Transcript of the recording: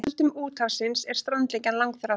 Öldum úthafsins er strandlengjan langþráð.